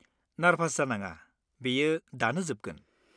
Nervous जानाङा, बेयो दानो जोबगोन।